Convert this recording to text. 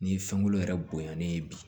Ni fɛnkolon yɛrɛ bonyanalen ye bi